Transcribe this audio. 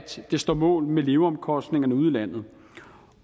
så den står mål med leveomkostningerne i udlandet